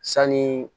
Sanni